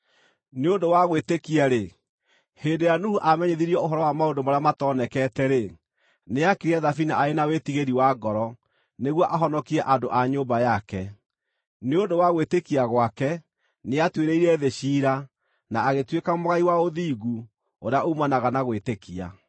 Nĩ ũndũ wa gwĩtĩkia-rĩ, hĩndĩ ĩrĩa Nuhu aamenyithirio ũhoro wa maũndũ marĩa matoonekete-rĩ, nĩaakire thabina arĩ na wĩtigiri wa ngoro nĩguo ahonokie andũ a nyũmba yake. Nĩ ũndũ wa gwĩtĩkia gwake nĩatuĩrĩire thĩ ciira, na agĩtuĩka mũgai wa ũthingu ũrĩa uumanaga na gwĩtĩkia.